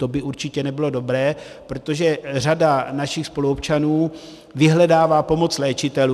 To by určitě nebylo dobré, protože řada našich spoluobčanů vyhledává pomoc léčitelů.